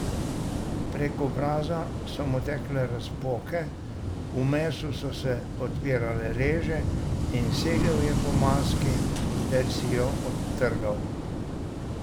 Prek obraza so mu tekle razpoke, v mesu so se odpirale reže, in segel je po maski ter si jo odtrgal.